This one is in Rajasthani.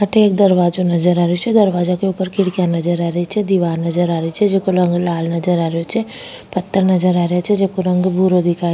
अठे एक दरवाजो नजर आ रो छे दरवाजो के ऊपर खिड़किया नजर आ रही छे दिवार नजर आ रही छे जेको रंग लाल नजर आ रो छे पत्थर नजर आ रा छे जेको रंग भूरो दिखाई --